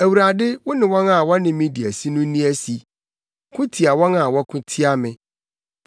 Awurade wo ne wɔn a wɔne me di asi no nni asi; ko tia wɔn a wɔko tia me.